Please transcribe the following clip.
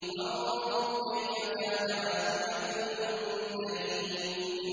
فَانظُرْ كَيْفَ كَانَ عَاقِبَةُ الْمُنذَرِينَ